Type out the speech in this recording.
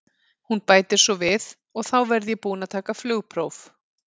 Hún bætir svo við: og þá verð ég búin að taka flugpróf.